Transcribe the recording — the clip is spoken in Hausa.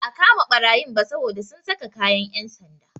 Ba a kama ɓarayin ba saboda sun saka kayan yan'sanda.